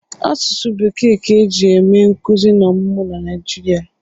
Asụsụ Bekee ka e ji eme nkụzi na ọmụmụ na Naịjirịa.